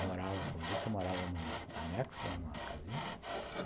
Morava, como disse, eu morava num anexo, numa casinha.